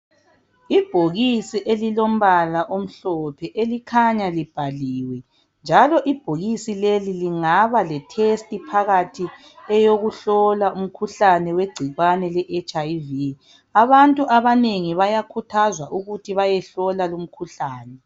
Ibhokisi elilombala omhlophe, elikhanya libhaliwe njalo ibhokisi leli lingaba lethesti phakathi eyokuhlola umkhuhlane wegcikwane leHIV. Abantu abanengi bayakhuthazwa ukuthi bayehlola lumkhuhlane.